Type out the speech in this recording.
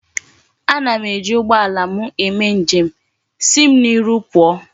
Ana m eji ugboala m eme njem.,Si m n'iru puo!